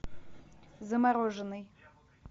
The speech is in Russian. замороженный